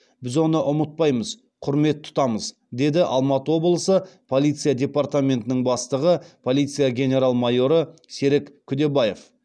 біз оны ұмытпаймыз құрмет тұтамыз деді алматы облысы полиция департаментінің бастығы полиция генерал майоры серік күдебаев